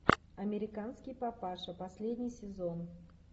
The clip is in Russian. американский папаша последний сезон